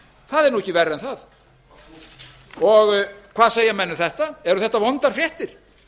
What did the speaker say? það er nú ekki verra en það hvað segja menn um þetta eru þetta vondar fréttir